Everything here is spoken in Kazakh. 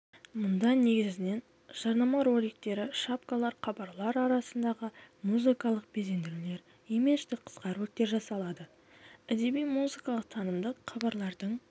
мұнда негізінен жарнама роликтері шапкалар хабарлар арасындағы музыкалық безендірулер имидждік қысқа роликтер жасалады әдеби-музыкалық танымдық хабарлардың